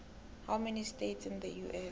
how many states in the us